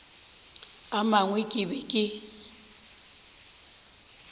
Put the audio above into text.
a mangwe ke be ke